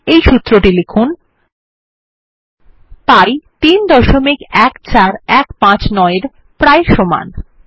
এই সূত্রটি লিখুন160 পি 314159 এর প্রায় সমান